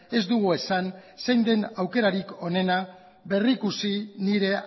ez dugu esan zein den aukerarik onena berrikusi nire